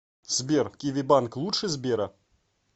сбер киви банк лучше сбера